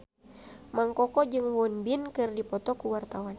Mang Koko jeung Won Bin keur dipoto ku wartawan